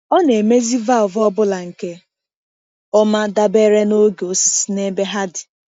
Ọ na-emezi valvụ ọ bụla nke ọma dabere na oge osisi na ebe ha dị.